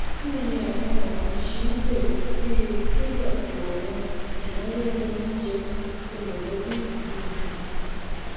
bí iye àwọn ohun ọgbìn ṣe n gbèrú sí i ti lékún àwọn ìnáwó ohun oúnjẹ ti mọlẹbí gidigidi